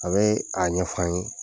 A be a ɲɛfɔ an ye.